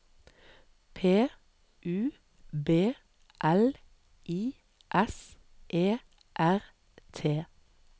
P U B L I S E R T